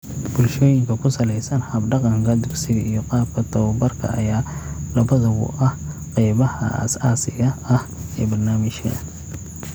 Bulshooyinka ku salaysan hab-dhaqanka dugsiga iyo qaabka tababarka ayaa labaduba ah qaybaha aasaasiga ah ee barnaamijka.